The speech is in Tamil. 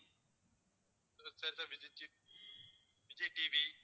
sir sir Vijay TV Vijay TV